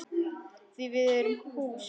Því að við erum hús.